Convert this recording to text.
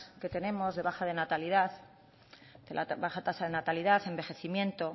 que tenemos de baja de natalidad de la baja tasa de natalidad envejecimiento